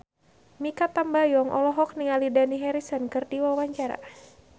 Mikha Tambayong olohok ningali Dani Harrison keur diwawancara